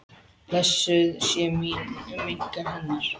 Blessuð sé minning hennar.